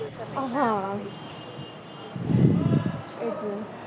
હા એટલે